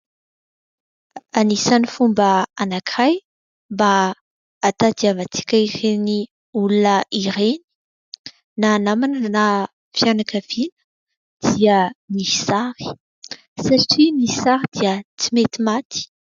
Anisan'ny fomba anankiray mba hahatadiavantsika ireny olona ireny na namana na fianakaviana dia ny sary satria ny sary dia tsy mety maty.